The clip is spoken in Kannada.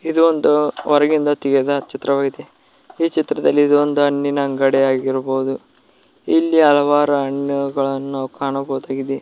ಇದು ಒಂದು ಹೊರಗಿಂದ ತೆಗೆದ ಚಿತ್ರವಾಗಿದೆ ಈ ಚಿತ್ರದಲ್ಲಿ ಇದು ಒಂದು ಹಣ್ಣಿನ ಅಂಗಡಿಯಾಗಿರಬಹುದು ಇಲ್ಲಿ ಹಲವಾರು ಹಣ್ಣುಗಳನ್ನು ನಾವು ಕಾಣಬಹುದಾಗಿದೆ.